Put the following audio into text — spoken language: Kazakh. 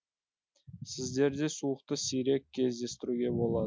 сіздерде суықты сирек кездестіруге болады